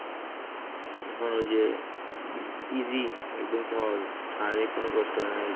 এখন ওই যে easy শারীরিক কোনো কষ্ট হয় না,